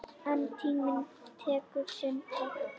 En tíminn tekur sinn toll.